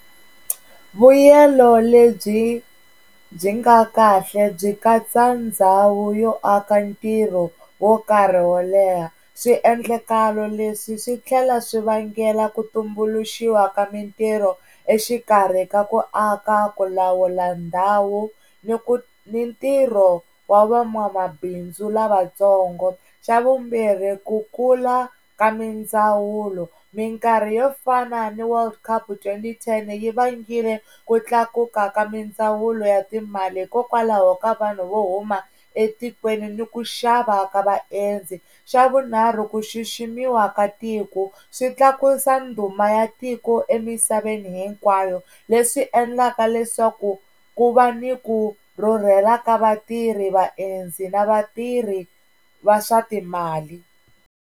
Vuyelo lebyi byi byi nga kahle byi katsa ndhawu yo aka ntirho wo karhi wo leha swiendlakalo leswi swi tlhela swi vangela ku tumbuluxiwa ka mintirho exikarhi ka ku aka, ku lawula ndhawu ni ku ni ntirho wa van'wamabindzu lavatsongo, xa vumbirhi ku kula ka mindzawulo minkarhi yo fana ni Word cup twenty ten yi vangile ku tlakuka ka mindzawulo ya timali hikokwalaho ka vanhu vo huma etikweni ni ku xava ka vaendzi, xa vunharhu ku xiximiwa ka tiko swi tlakusa ndhuma ya tiko emisaveni hinkwayo leswi endlaka leswaku ku va ni ku rhurhela ka vatirhi, vaendzi na vatirhi va swa timali.